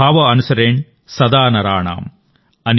భావ అనుసరేణ్ సదా నరాణాం ||